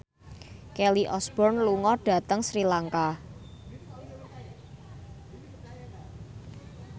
Kelly Osbourne lunga dhateng Sri Lanka